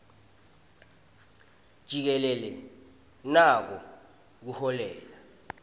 jikelele nako kuholela